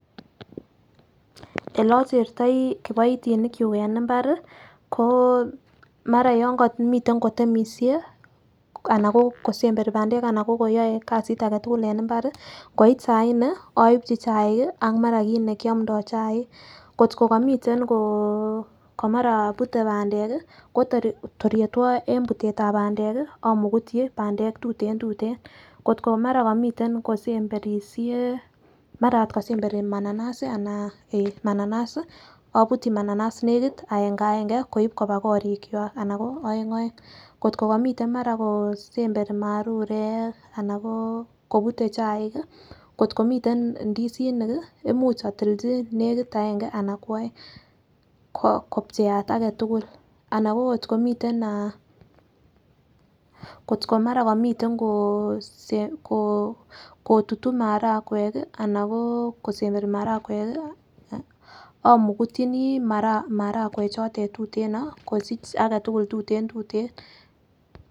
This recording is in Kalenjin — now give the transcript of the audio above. Ele ochertoi kipoitinik chuk en imbari ko mara yon komiten kotemishe ana ko kisemberi pandek anan ko koyoe kasit agetukul en imbari ngoit saa nne oibchi chaik kii ak mara kit nekiomdo chaik kotko komiten komara pute pandek kii ko tor yetwo en putetab pandek kii omukutyi pandek tutentuten, kotko2 mara komiten kosemberishe mara ot kosemberi mananas anan eh mananas obutyi mananas nekit aenga enge koin koba korik kwak anan ko oeng oeng. Kotko komiten mara kosemberi marurek ana ko kobute chaik kii kotko miten ndisinik kii imuch otilchi nekit aenge ana ko oeng kopcheat agetukul anan ko kotko miten ah kotko mara komiten ko kosem kotutu marakwek kii anan ko kosemberi marakwek kii omukutyini marakwek chotet tuteno kosich agetukul tuten tuten.